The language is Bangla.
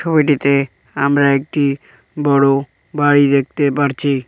ছবিটিতে আমরা একটি বড় বাড়ি দেখতে পারছি।